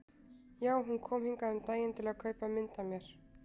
Jú, hún kom hingað um daginn til að kaupa mynd af mér.